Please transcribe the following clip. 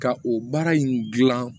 Ka o baara in gilan